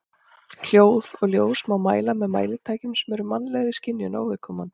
Hljóð og ljós má mæla með mælitækjum sem eru mannlegri skynjun óviðkomandi.